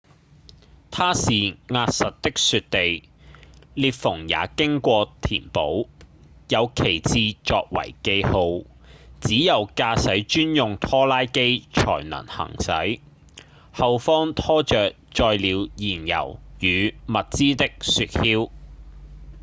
它是壓實的雪地裂縫也經過填補有旗幟作為記號只有駕駛專用拖拉機才能行駛後方拖著載了燃油與物資的雪橇